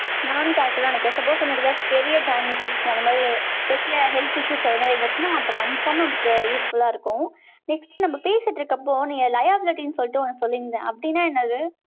நானும் correct ன்னு நினைக்கிறேன். suppose நம்ம இதுல, பெரிய damages, அந்த மாதிரி, health issues அந்த மாதிரி இருந்துச்சுன்னா, அப்ப confirm ஆ, நமக்கு useful ஆ இருக்கும். next, நம்ம பேசிட்டு இருக்கப்போ, நீங்க liablety ன்னு சொல்லிட்டு, ஒண்ணு சொல்லி இருந்தேன். அப்படின்னா என்னது